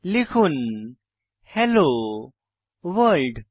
লিখুন hello world